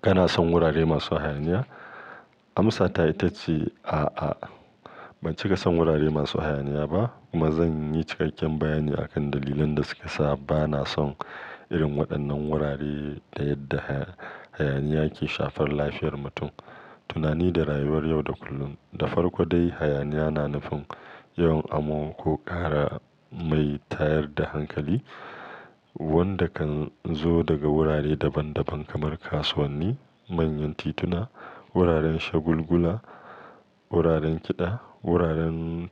Kana son wurare masu hayaniya? Amsata ita ce a'a, ban cika son wurare masu hayaniya ba kuma zan yi cikakken bayani akan dalilan da suke sa ba na son irin waɗannan wurare da yadda hayaniya ke shafar lafiyar mutum, tunani da rayuwar yau da kullum. Da farko dai, hayaniya na nufin yawan amo ko ƙara mai tayar da hankali wanda kan zo daga wurare daban daban kamar kasuwanni, manyan tituna, wuraren shagulgula, wuraren kiɗa, wuraren